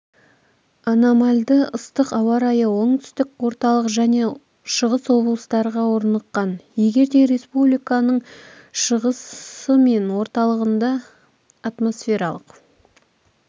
анамальды ыстық ауа-райы оңтүстік орталық және шығыс облыстарға орныққан егер де республиканың шығысы мен орталығында атмосфералық